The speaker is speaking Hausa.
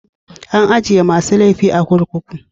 An ajie masun laifi a'kurkuku.